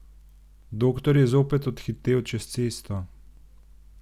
Doktor je zopet odhitel čez cesto.